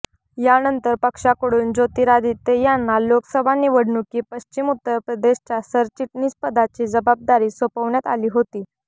यानंतर पक्षाकडून ज्योतिरादित्य यांना लोकसभा निवडणुकी पश्चिम उत्तर प्रदेशच्या सरचिटणीस पदाची जबाबदारी सोपवण्यात आली होती